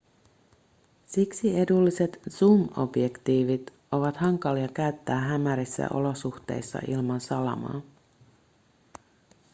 siksi edulliset zoom-objektiivit ovat hankalia käyttää hämärissä olosuhteissa ilman salamaa